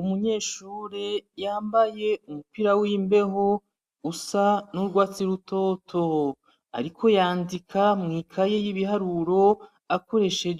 Umunyeshure yambaye umupira w'imbeho usa n'urwatsi rutoto, ariko yandika mw'ikaye y'ibiharuro akoreshe